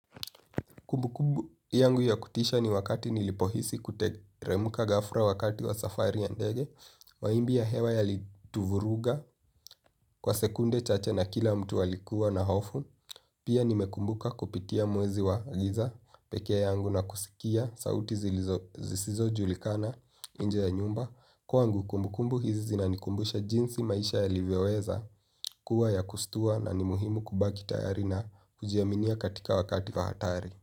Kumbu kumbu yangu ya kutisha ni wakati nilipohisi kuteremuka ghafla wakati wa safari ya ndege, mawimbi ya hewa yalituvuruga kwa sekunde chache na kila mtu alikuwa na hofu, pia nimekumbuka kupitia mwezi wa giza pekee yangu na kusikia sauti zisizojulikana nje ya nyumba. Kwangu kumbukumbu hizi zinanikumbusha jinsi maisha yalivyoweza kuwa ya kushtua na ni muhimu kubaki tayari na kujiaminia katika wakati wa hatari.